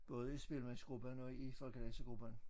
Både i spillemandsgruppen og i folkedansegruppen